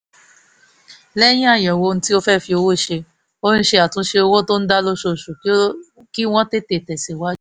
lẹ́yìn àyẹ̀wò ohun tí wọ́n fẹ́ fi owó ṣe her ṣe àtúnṣe owó tó ń dá lóṣooṣù kí wọ́n tètè tẹ̀síwájú